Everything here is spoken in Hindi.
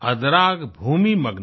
अदराग भूमि मग्ना